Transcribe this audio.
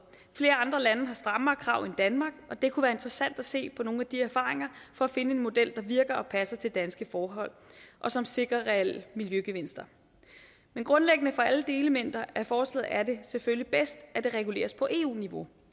flere andre lande har strammere krav end danmark og det kunne være interessant at se på nogle af de erfaringer for at finde en model der virker og passer til danske forhold og som sikrer reelle miljøgevinster men grundlæggende for alle delelementer af forslaget er det selvfølgelig bedst at det reguleres på eu niveau